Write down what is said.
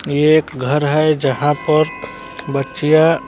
ये एक घर है यहां पर बच्चियां--